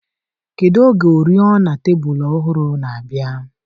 Kedu oge oriọna tebụl ọhụrụ na-abịa?